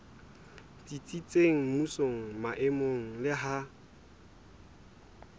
tsitsitseng mmusong maemong le ha